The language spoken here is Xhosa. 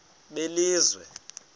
belizwe